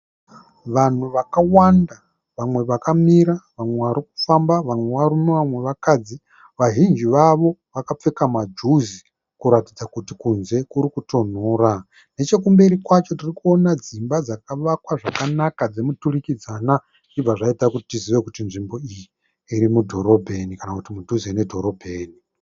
Vanhu vakawanda vamwe vakamira vamwe vari kufamba. Vamwe varume vamwe vakadzi. Vazhinji vavo vakapfeka majuzi kuratidza kuti kunze kuri kutonhora. Nechekumberi kwacho tiri kuona dzimba dzakavakwa zvakanaka dzemuturikidzanwa zvichibva zvaita kuti tizive kuti nzvimbo iyi iri mudhorobheni kana kuti mudhuze nedhorobheni.